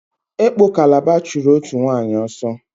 Ekpo Kalaba chụrụ òtù nwaanyị ọsọ.